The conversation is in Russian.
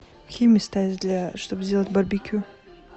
какие места есть для чтобы сделать барбекю